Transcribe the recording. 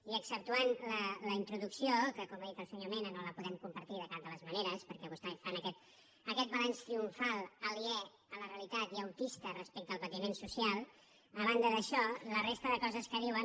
i exceptuant la introducció que com ha dit el senyor mena no la podem compartir de cap de les maneres perquè vostès fan aquest balanç triomfal aliè a la realitat i autista respecte al patiment social a banda d’això la resta de coses que diuen